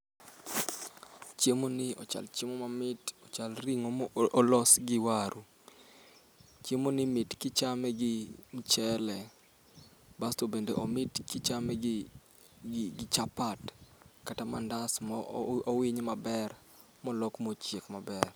Chiemo ni ochal chiemo mamit, ochal ring'o ma olos gi waru. Chiemo ni mit kichame gi mchele, basto bende omit kichame gi gi chapat kata mandas mo owiny maber molok machiek maber.